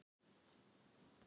Farðu nú upp að sofa.